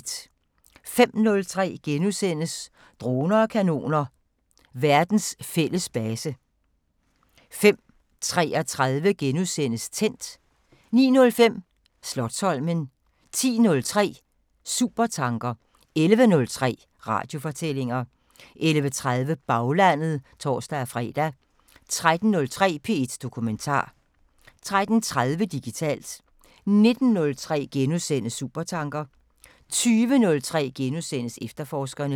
05:03: Droner og kanoner: Verdens fælles base * 05:33: Tændt * 09:05: Slotsholmen 10:03: Supertanker 11:03: Radiofortællinger 11:30: Baglandet (tor-fre) 13:03: P1 Dokumentar 13:30: Digitalt 19:03: Supertanker * 20:03: Efterforskerne *